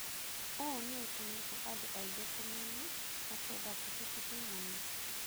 ũũ nĩ ũtũmĩte andũ aingĩ kũmenya na kwenda kibikibi mũno.